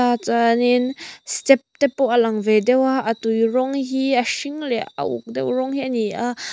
a chuanin step te pawh a lang ve deuha a tui rawng hi a hring leh a uk deuh rawng hi ani a.